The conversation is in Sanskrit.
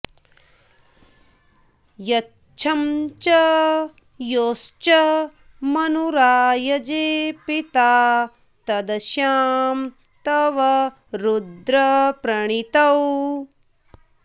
यच्छं च॒ योश्च॒ मनु॑राय॒जे पि॒ता तद॑श्याम॒ तव॑ रुद्र॒ प्रणी॑तौ